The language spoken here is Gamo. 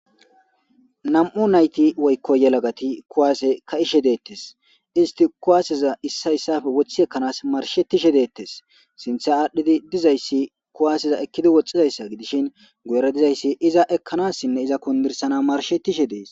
Nam'u nayti woyko yelagati kuwase ka'ishe deetes isti kuwaseza issa issappe wothi ekanas marshetishe deetes sinthe adhidi dizaysi kuwaseza ekidi bizaysa gidishin guyera dizaysi iza ekanasinne iza kundirsanas marshetishe dees.